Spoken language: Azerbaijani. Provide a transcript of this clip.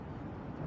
Hamısı.